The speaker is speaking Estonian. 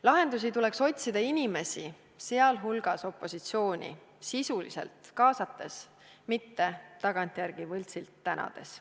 Lahendusi tuleks otsida inimesi, sh opositsiooni sisuliselt kaasates, mitte tagantjärele võltsilt tänades.